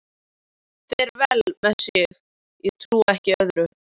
Fer vel með sig, ég trúi ekki öðru.